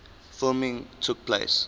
filming took place